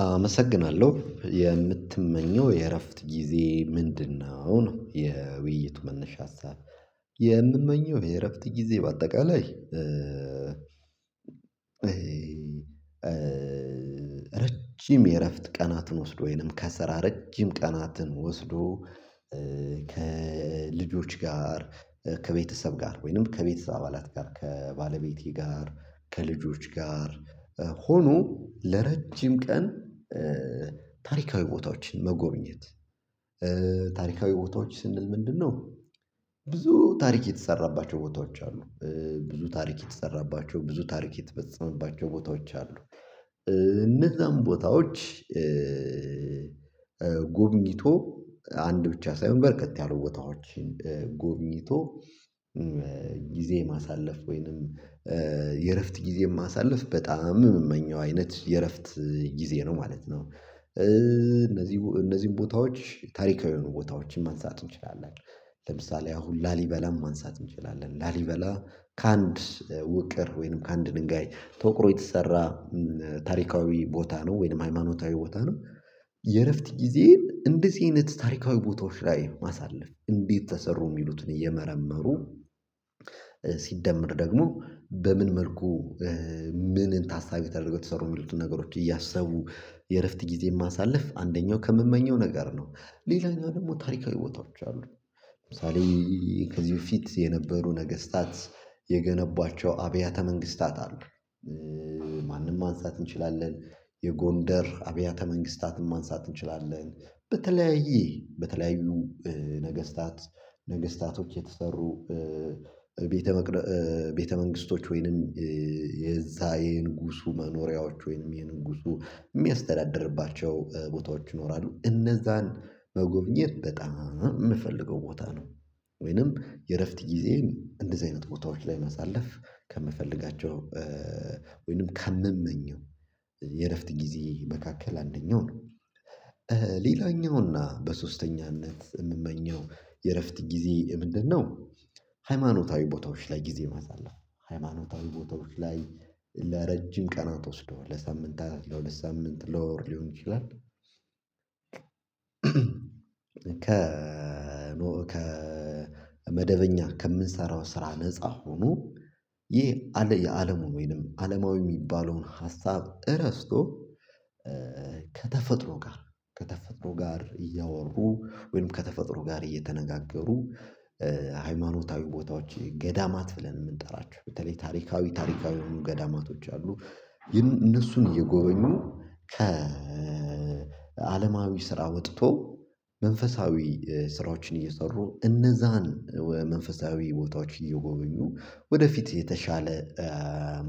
አመሰግናለሁ የምትመኘው የእረፍት ጊዜ ምንድነው? ነው የውይይቱ መነሻ ሀሳብ። የምመኘው የእረፍት ጊዜ በአጠቃላይ ረጅም የእረፍት ቀናትን ወስዶ ወይንም ከስራ ረጅም ቀናትን ወስዶ። ከልጆች ጋር ከቤተሰብ ጋር ወይንም ከቤተሰብ አባላት ጋር ከባለቤቴ ጋር ከልጆች ጋር ሆኖ ለረጅም ቀን። ታሪካዊ ቦታዎችን መጎብኘት ታሪካዊ ቦታዎች ስንል ምንድነው? ብዙ ታሪክ የተሰራባቸው ቦታዎች አሉ። ብዙ ታሪክ የተሰራባቸው ብዙ ታሪክ የተፈጸመባቸው ቦታዎች አሉ። እነዛን ቦታዎች። ጎብኝቶ አንድ ብቻ ሳይሆን በርከት ያሉ ቦታዎችን ጎብኝቶ። ጊዜ ማሳለፍ ወይንም የእረፍት ጊዜ ማሳለፍ በጣም የምመኘው አይነት የእረፍት ጊዜ ነው ማለት ነው። እነዚህ እነዚህን ቦታዎች ታሪካዊውን ቦታዎችን ማንሳት እንችላለን። ለምሳሌ አሁን ላሊበላም ማንሳት እንችላለን ላሊበላ ከአንድ ውቅር ወይንም ከአንድ ድንጋይ ተወቅሮ የተሰራ ታሪካዊ ቦታ ነው ወይንም ሃይማኖታዊ ቦታ ነው። የእረፍት ጊዜን እንደዚህ አይነት ታሪካዊ ቦታዎች ላይ ማሳለፍ እንዴት ተሰሩ የሚሉትን እየመረመሩ ሲደመር ደግሞ በምን መልኩ ምንን ታሳቢ ተደርጎ ተሰሩ የሚሉትን ነገሮች እያሰቡ የእረፍት ጊዜ ማሳለፍ አንደኛው ከምመኘው ነገር ነው። ሌላኛው ደግሞ ታሪካዊ ቦታዎች አሉት። ለምሳሌ ከዚህ በፊት የነበሩ ነገስታት የገነቧቸው አብያተ መንግስታት አሉ። ማንም ማንሳት እንችላለን የጎንደር አብያተ መንግስታትን ማንሳት እንችላለን በተለያየ በተለያዩ ነገስታት ነገስታቶች የተሰሩ ቤተ ቤተ መንግስቶች ወይንም የዛ የንጉሱ መኖሪያዎች ወይንም የንጉሱ የሚያስተዳድርባቸው ቦታዎች ይኖራሉ እነዛን መጎብኘት በጣም የምፈልገው ቦታ ነው። ወይንም የእረፍት ጊዜየን እንደዚህ አይነት ቦታዎች ላይ ማሳለፍ ከምፈልጋቸው ወይንም ከምመኘው የእረፍት ጊዜ መካከል አንደኛው ነው። ሌላኛው በሶስተኛነት የምመኘው የእረፍት ጊዜ ምንድነው? ሃይማኖታዊ ቦታዎች ላይ ጊዜ ማሳለፍ ሃይማኖታዊ ቦታዎች ላይ ለረጅም ቀናት ወስዶ ለሳምንታት ለሁለት ሳምንት ለወር ሊሆን ይችላል። ከ ከ ከመደበኛ ከምንሰራው ስራ ነፃ ሆኖ ይህ የአለሙ ወይንም አለማዊ የሚባለውን ሀሳብ እረስቶ። ከተፈጥሮ ጋር ከተፈጥሮ ጋር እያወሩ ወይም ከተፈጥሮ ጋር እየተነጋገሩ። ሃይማኖታዊ ቦታዎች ገዳማት ብለን ለምን የምንጠራቸው በተለይ ታሪካዊ ታሪካዊ ገዳማቶች አሉ። እነሱን እየጎበኙ ከ ከአለማዊ ስራ ወጥቶ መንፈሳዊ ስራዎችን እየሰሩ እነዛን መንፈሳዊ ቦታዎች እየጎበኙ ወደፊት የተሻለ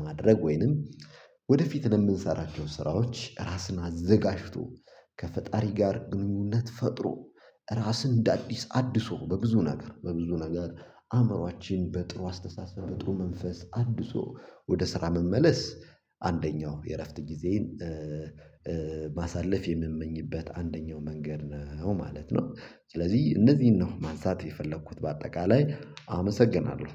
ማድረግ ወይንም ወደፊት ለምንሰራቸው ስራዎች ራስን አዘጋጅቶ ከፈጣሪ ጋር ግንኙነት ፈጥሮ። ራስን እንደ አዲስ አድሶ በብዙ ነገር በብዙ ነገር አእምሮአችን በጥሩ አስተሳሰብ በጥሩ መንፈስ አድሶ ወደ ስራ መመለስ። አንደኛው የእረፍት ጊዜን ማሳለፍ የምመኝበት አንደኛው መንገድ ነው ማለት ነው። ስለዚህ እነዚህን ነው ማንሳት የፈለኩት በአጠቃላይ አመሰግናለሁ።